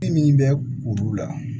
E min bɛ kuru la